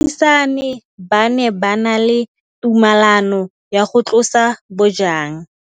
Baagisani ba ne ba na le tumalanô ya go tlosa bojang.